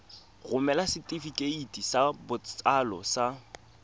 romela setefikeiti sa botsalo sa